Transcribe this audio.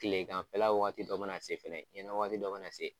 Kile ganfɛla waati dɔ ma na se fɛnɛ, ɲɛna waati dɔ ma na se.